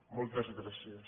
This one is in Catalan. moltes gràcies